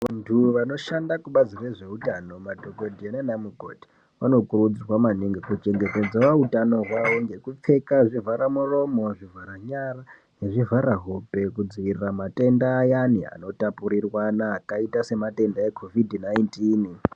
Vantu vanoshanda kubazi rezveutano madhokodhera nanamukoti, vanokurudzirwa maningi kuchengetedzawo utano hwawo ngekupfeka zvivharamuromo, zvivharanyara nezvivharahope kudzivirira matenda ayani anotapurirwana akaita sematenda eCOVID19.